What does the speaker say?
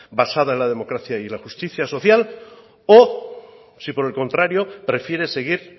basada en la democracia y en la justicia social o si por el contrario prefiere seguir